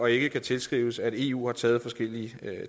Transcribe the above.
ikke kan tilskrives at eu har taget forskellige